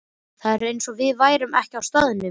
Það var eins og við værum ekki á staðnum.